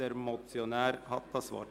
Der Motionär hat das Wort.